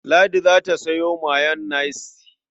Ladi za ta sayo mayonnaise.